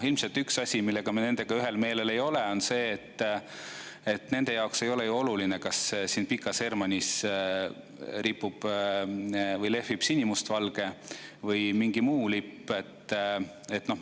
Ilmselt üks asi, millega me nendega ühel meelel ei ole, on see, et nende jaoks ei ole ju oluline, kas siin Pikas Hermannis lehvib sinimustvalge või mingi muu lipp.